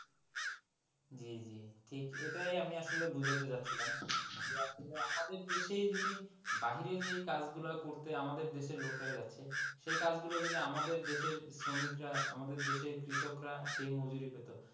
জি জি ঠিক এটাই আমি আপনাকে আসলে বোঝাতে চাচ্ছিলাম যে আসলে আমাদের দেশেই যদি বাহিরে যেই কাজ গুলা করতে আমাদের দেশের লোক গুলো যাচ্ছে সেই কাজ গুলো যদি আমাদের দেশের শ্রমিকরা আমাদের দেশে কৃষকরা সেই মজুরি পেতো,